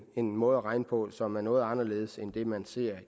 en måde at regne på som er noget anderledes end den man ser